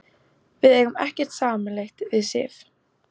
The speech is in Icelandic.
Við eigum ekkert sameiginlegt við Sif.